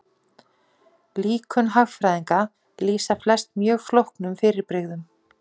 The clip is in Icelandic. Líkön hagfræðinga lýsa flest mjög flóknum fyrirbrigðum.